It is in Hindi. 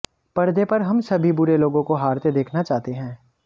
परदे पर हम सभी बुरे लोगों को हारते देखना चाहते हैं